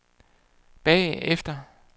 bagefter